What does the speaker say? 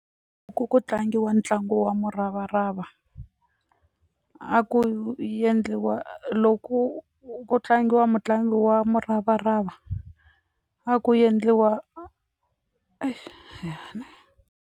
ku tlangiwa ntlangu wa muravarava a ku yendliwa loko ku tlangiwa mutlangi wa muravarava a ku yendliwa .